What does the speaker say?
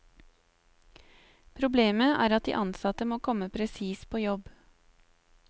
Problemet er at de ansatte må komme presis på jobb.